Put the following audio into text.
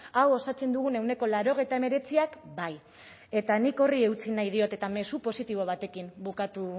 hau osatzen dugun ehuneko laurogeita hemeretziak bai eta nik horri eutsi nahi diot eta mezu positibo batekin bukatu